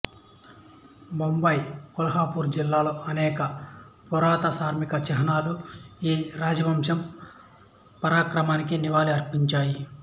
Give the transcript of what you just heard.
ముంబై కొల్హాపూరు జిల్లాలోని అనేక పురాతన స్మారక చిహ్నాలు ఈ రాజవంశం పరాక్రమానికి నివాళి అర్పించాయి